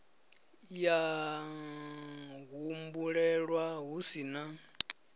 ya humbulelwa hu si na